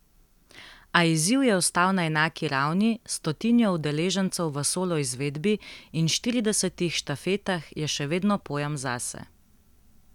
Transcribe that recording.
A izziv je ostal na enaki ravni, s stotnijo udeležencev v solo izvedbi in štiridesetih štafetah je še vedno pojem zase.